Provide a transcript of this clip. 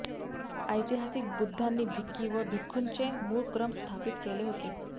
ऐतिहासिक बुद्धांनी भिक्की व भिक्खुनीचे मूळ क्रम स्थापित केले होते